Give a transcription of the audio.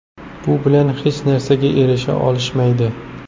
Bu bilan hech narsaga erisha olishmaydi.